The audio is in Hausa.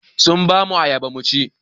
Sun ba mu ayaba mu ci.